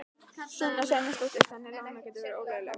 Sunna Sæmundsdóttir: Þannig að lánin gætu verið ólögleg?